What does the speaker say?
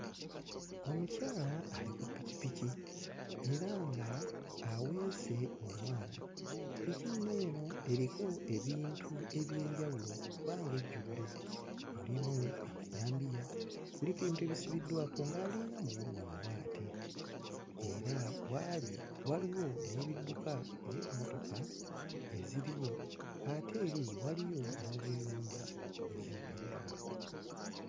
Omukyala ali ku ppikippiki era nga aweese omwana. Ppiki nno eno eriko ebintu eby'enjawulo kubanga ejjudde. Mulimu amajambiya, kuliko ebintu ebisibiddwako ng'alinga muwogo omuwaate era w'ali waliwo n'ebidduka ng'emmotoka eziriwo ate eri waliyo n'obuyumba obuzimbiddwa.